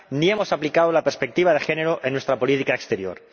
ni hemos aplicado la perspectiva de género en nuestra política exterior.